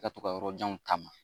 I ka to ka yɔrɔjanw taama